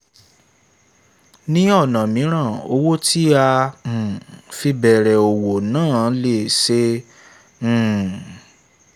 ní ọ̀nà míràn owó tí a um fi bẹ̀rẹ̀ òwò náà n lé sí um i